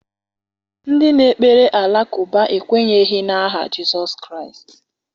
Ndị na-ekpere alakụba ekwenyeghị n’aha Jizọs Kraịst.